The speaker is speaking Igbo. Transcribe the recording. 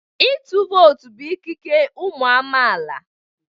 Ịtụ vootu bụ ikike ụmụ amaala.